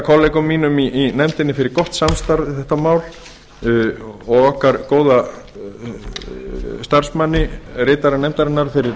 kollegum mínum í nefndinni fyrir gott samstarf við þetta mál og okkar góða starfsmanni ritara nefndarinnar fyrir